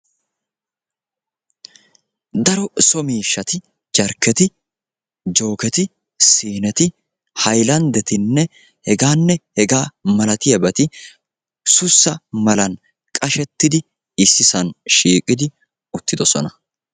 Daro so miishshatti jarkketti, jookketi, siineti, haylandettinne hegganne hegga malattiyabati sussa mallan qashettidi issisaan shiiqqdi uttidosona.